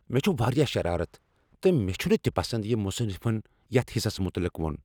مےٚ چھ واریاہ شرارت تہٕ مےٚ چھنہٕ تہ پسند یِہ مصنفن یتھ حصس متعلق ووٚن۔